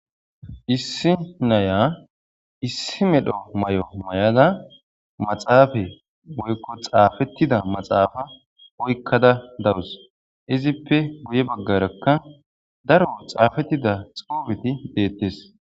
Isi na'iya isi medho mayo mayada maxafe woyko xafetida maxafa oykada dawus izipe guye bagaraka daro xafetida xufeti detes.